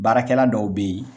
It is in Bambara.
Baarakɛla dɔw bɛ ye.